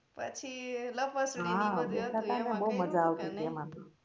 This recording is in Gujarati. પછી લપસણી ની બધી હતી એમા તો કેવી માજા આઈ નઈ